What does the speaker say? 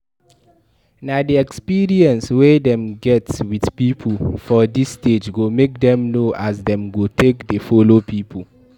Na di experience wey dem get with pipo for this stage go make dem know as dem go take de follow pipo